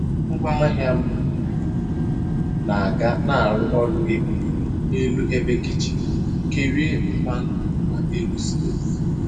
Ngwaahịa m na-aga na-arụ ọrụ ebube n'elu ebe kichin kerie mmanụ na n'elu stovu.